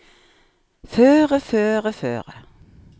føre føre føre